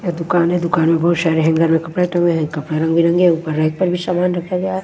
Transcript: दुकान है दुकान में बहुत सारे हैंगर में कपड़े टंगे हुए हैं कपड़े रंगबिरंगे ऊपर रैक पर भी सामान रखा हुआ--